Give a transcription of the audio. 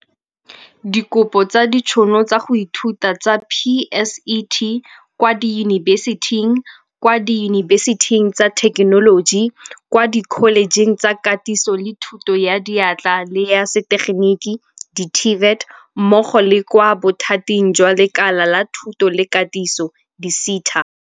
Dikopo tsa ditšhono tsa go ithuta tsa PSET, kwa diyunibesiting, kwa diyunibesiting tsa thekenoloji, kwa dikholejeng tsa Katiso le Thuto ya Diatla le ya setegeniki di-TVET mmogo le kwa Bothating jwa Lekala la Thuto le Katiso di-SETA.